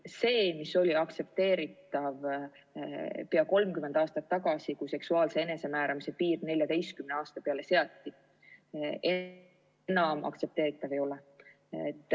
See, mis oli aktsepteeritav pea 30 aastat tagasi, kui seksuaalse enesemääramise piir 14 aasta peale seati, enam aktsepteeritav ei ole.